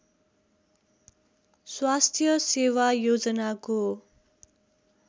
स्वास्थ्य सेवा योजनाको